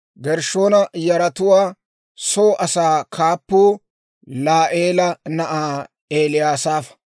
Gershshoona yaratuwaa soo asaa kaappuu Laa'eela na'aa Eliyasaafa.